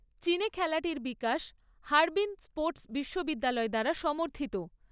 চীনে খেলাটির বিকাশ হারবিন স্পোর্ট বিশ্ববিদ্যালয় দ্বারা সমর্থিত।